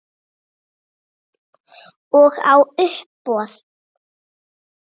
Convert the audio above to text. Og á uppboð.